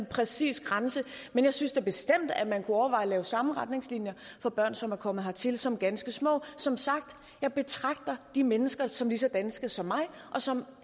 præcis grænse men jeg synes da bestemt at man kunne overveje at lave samme retningslinjer for børn som er kommet hertil som ganske små som sagt jeg betragter de mennesker som lige så danske som mig og som